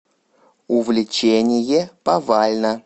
увлечение повально